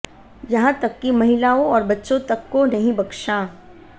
यहाँ तक कि महिलाओं और बच्चों तक को नहीं बख्शा